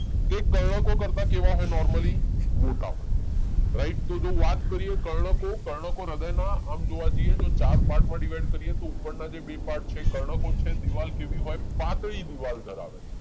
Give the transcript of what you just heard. એ કર્ણકો કરતા કેવા હોય નોર્મલી? મોટા હોય રાઈટ તો જે વાત કરીએ કર્ણકો, કર્ણકો હૃદયના આમ જોવા જઈએ જો ચાર પાર્ટમાં ડીવાઈડ કરીએ તો ઉપરના જે બે પાર્ટ છે એ કર્ણકો છે દીવાલ કેવી હોય પાતળી દીવાલ ધરાવે